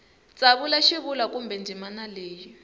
tsavula xivulwa kumbe ndzimana leyi